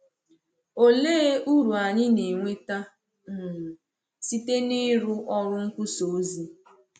Òlee uru anyị na-enweta um site n’ịrụ ọrụ nkwusà ozi?